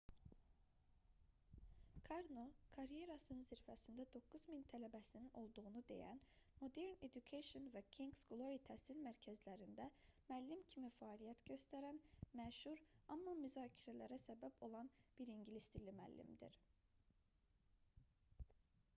karno karyerasının zirvəsində 9 min tələbəsinin olduğunu deyən modern education və kings glory təhsil mərkəzlərində müəllim kimi fəaliyyət göstərən məşhur amma müzakirələrə səbəb olan bir ingilis dili müəllimdir